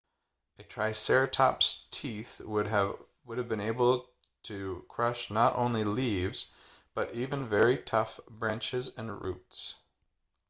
a triceratops' teeth would have been able to crush not only leaves but even very tough branches and roots